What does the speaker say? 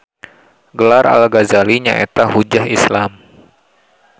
Gelar Al Gazali nyaeta Hujjah Islam